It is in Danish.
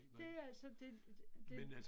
Det det altså det, det